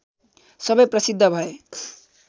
सबै प्रसिद्ध भए